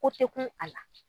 Ko tɛ kun a la.